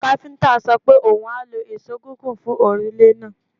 Káfíńńtà sọ pe oun a lo ìṣó gígùn fun òrùlé náà.